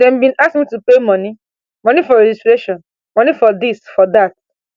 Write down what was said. dem bin ask me to pay money money for registration money for dis for dat